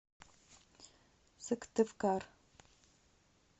сыктывкар